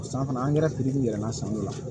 San fana angɛrɛ filila san dɔ la